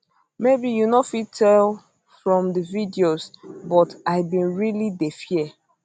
maybe you no fit tell from di videos but i bin really dey fear